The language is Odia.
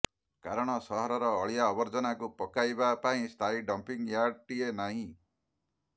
କାରଣ ସହରର ଅଳିଆ ଆବର୍ଜନାକୁ ପକାଇବା ପାଇଁ ସ୍ଥାୟୀ ଡମ୍ପିଂୟାର୍ଡଟିଏ ନାହିଁ